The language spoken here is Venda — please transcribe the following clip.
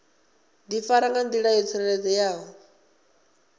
difara nga ndila yo tsireledzeaho